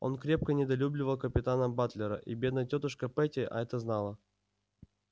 он крепко недолюбливал капитана батлера и бедная тётушка питти это знала